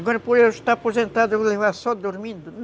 Agora, por eu estar aposentado, eu vou levar só dormindo?